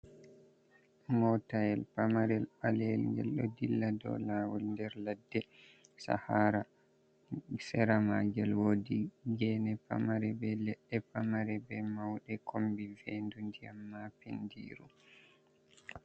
Motayel pamarel ɓaleyel ngel ɗo dilla dow lawol nder ladde, shahara sera magel wodi gene pamare be leɗɗe pamare be mauɗe kombi vendu ndiyam ma pendiru.